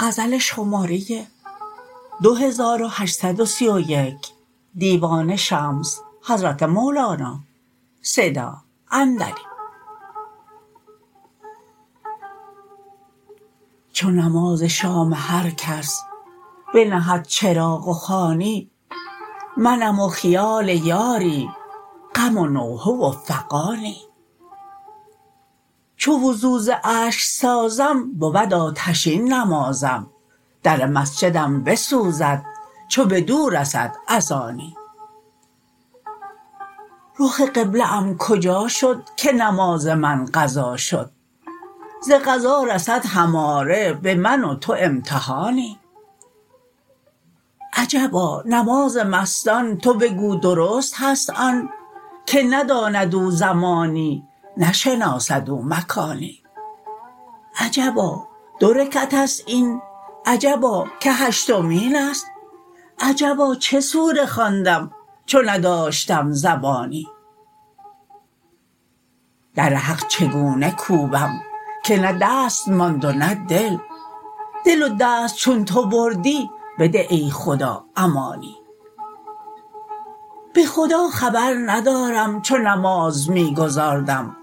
چو نماز شام هر کس بنهد چراغ و خوانی منم و خیال یاری غم و نوحه و فغانی چو وضو ز اشک سازم بود آتشین نمازم در مسجدم بسوزد چو بدو رسد اذانی رخ قبله ام کجا شد که نماز من قضا شد ز قضا رسد هماره به من و تو امتحانی عجبا نماز مستان تو بگو درست هست آن که نداند او زمانی نشناسد او مکانی عجبا دو رکعت است این عجبا که هشتمین است عجبا چه سوره خواندم چو نداشتم زبانی در حق چگونه کوبم که نه دست ماند و نه دل دل و دست چون تو بردی بده ای خدا امانی به خدا خبر ندارم چو نماز می گزارم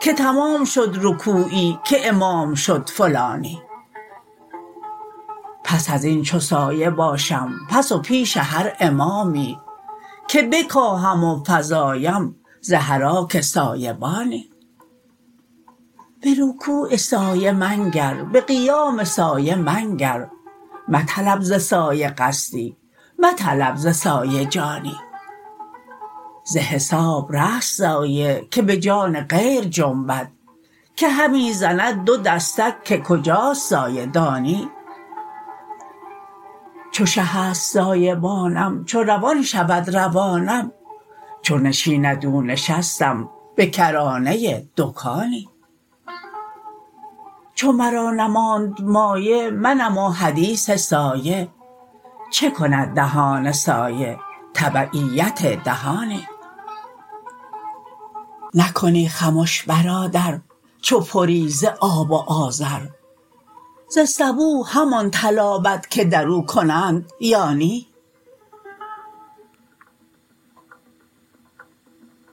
که تمام شد رکوعی که امام شد فلانی پس از این چو سایه باشم پس و پیش هر امامی که بکاهم و فزایم ز حراک سایه بانی به رکوع سایه منگر به قیام سایه منگر مطلب ز سایه قصدی مطلب ز سایه جانی ز حساب رست سایه که به جان غیر جنبد که همی زند دو دستک که کجاست سایه دانی چو شه است سایه بانم چو روان شود روانم چو نشیند او نشستم به کرانه دکانی چو مرا نماند مایه منم و حدیث سایه چه کند دهان سایه تبعیت دهانی نکنی خمش برادر چو پری ز آب و آذر ز سبو همان تلابد که در او کنند یا نی